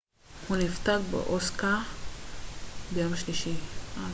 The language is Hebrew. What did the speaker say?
הוא נפטר באוסקה ביום שלישי